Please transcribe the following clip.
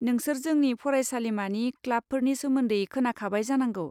नोंसोर जोंनि फरायसालिमानि क्लाबफोरनि सोमोन्दै खोनाखाबाय जानांगौ।